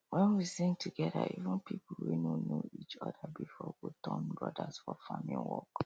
wen we sing together even people wey no know each other before go turn brothers for farming work